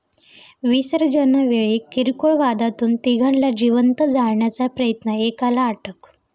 विसर्जनावेळी किरकोळ वादातून तिघांना जिवंत जाळण्याचा प्रयत्न, एकाला अटक